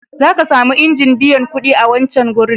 Za ka sami injin biyan kuɗi a wancan wurin..